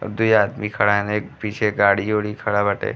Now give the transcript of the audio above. और दुई आदमी खड़ा हेने। पीछे गाड़ी ओड़ी खड़ा बाटे।